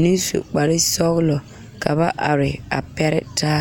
mine su kpar sɔgelɔ ka ba are a pɛre taa